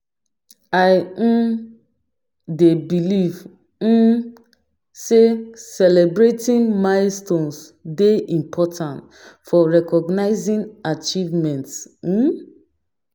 I um dey believe um say celebrating milestones dey important for recognizing achievements. um